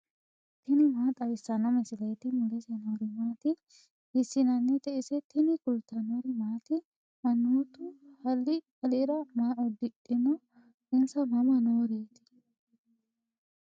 tini maa xawissanno misileeti ? mulese noori maati ? hiissinannite ise ? tini kultannori maati? manoottu haali alira maa udidhinno? insa mama nooreetti?